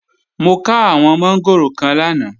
Mo ká àwọn mọ́ngòrò kan lánàá